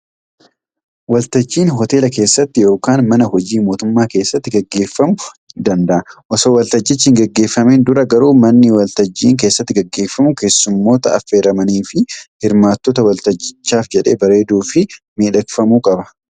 Waltajjiin hooteela keessatti yookaan mana hojii mootummaa keessaatti gaggeefamuu danda'a. Osoo waltajjichi hin gaggeeffamiin dura garuu manni Waltajjiin keessatti gaggeefamu keesummoota affeeramanii fi hirmaattota waltajjichaaf jedhee bareeduu fi miidhagfamuu qaba.